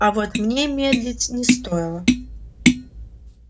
а вот мне медлить не стоило